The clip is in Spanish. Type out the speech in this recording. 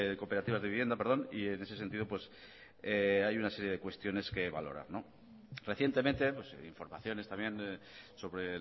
cooperativas de vivienda perdón y en ese sentido hay una serie de cuestiones que valorar recientemente informaciones también sobre